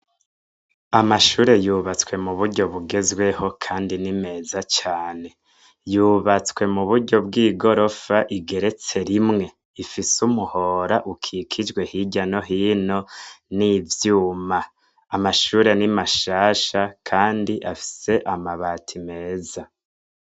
Amashuri yubatswe mu buryo bugezweho, kandi ni meza cane. Yubatswe mu buryo bw'igorofa igeretse rimwe, ifise umuhora ukikijwe hirya no hino n'ivyuma. Amashure ni mashasha, kandi afise amabati meza.